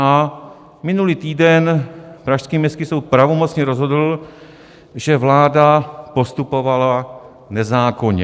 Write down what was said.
A minulý týden pražský Městský soud pravomocně rozhodl, že vláda postupovala nezákonně.